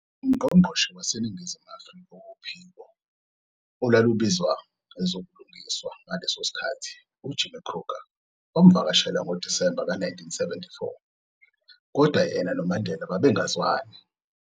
Ungqongqoshe waseNingizimu Afrikak wophiko olalubizwa ezobulungiswa ngaleso sikhathi u-Jimmy Kruger wamuvakashela ngoDisemba ka-1974, kodwa yena noMandela babengazwani.